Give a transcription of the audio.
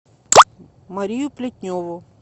марию плетневу